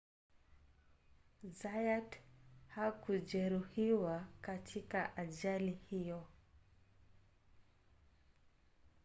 zayat hakujeruhiwa katika ajali hiyo